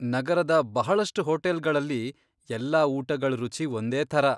ನಗರದ ಬಹಳಷ್ಟು ಹೋಟೆಲ್ಗಳಲ್ಲಿ, ಎಲ್ಲಾ ಊಟಗಳ್ ರುಚಿ ಒಂದೇಥರ.